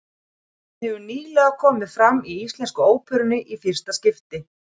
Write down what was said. Hann hefur nýlega komið fram í Íslensku óperunni í fyrsta skipti.